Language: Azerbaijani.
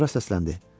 Sonra səsləndi.